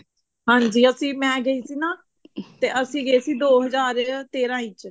ਹਾਂਜੀ ਅਸੀਂ ਮੈਂ ਗਈ ਸੀ ਨਾ ਤੇ ਅਸੀਂ ਗਏ ਸੀ ਦੋ ਹਜ਼ਾਰ ਤੇਰਾਂ ਦੇ ਵਿੱਚ